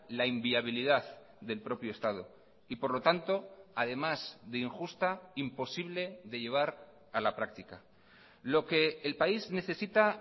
la inviabilidad del propio estado y por lo tanto además de injusta imposible de llevar a la práctica lo que el país necesita